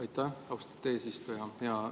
Aitäh, austatud eesistuja!